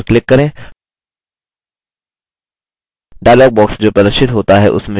dialog box जो प्रदर्शित होता है उसमें sheet 2 option पर click करें